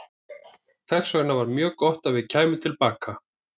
Þess vegna var mjög gott að við kæmum til baka.